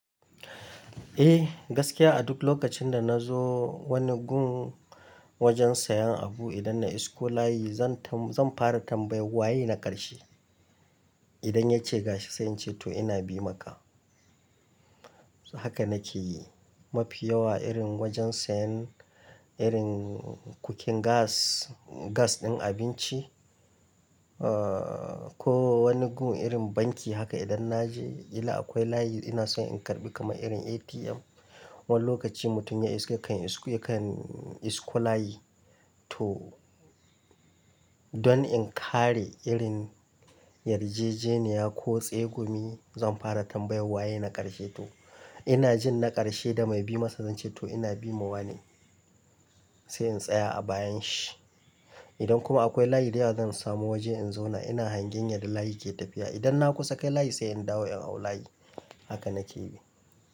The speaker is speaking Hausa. Eh, gaskiya a duk lokacin da na zo wani gun wajen sayan abu idan na isko layi zan tam-- zan fara tambayar "waye na ƙarshe?" Idan ya ce gashi sai in ce to ina bi maka. Haka nakeyi mafi yawa irin wajen sayan irin cooking gas, gas in abinci ko wani gu irin banki haka idan naje kila akwai layi inason in karbi kaman irin APM wani lokaci mutum ya iso kan ya kan isko layi. To dan in kare irin yarjejeniya ko tsegumi zan fara tambayan waye na karshe to inajin na karshe da mai bimasa zance to ina bi ma wane. Sai in tsaya a bayan shi idan kuma akwai layi da yawa zan samo waje in zauna ina hangen yar da layi ke tafiya idan na kusa kai layi sai in dawo in hau layi. Haka na ke yi.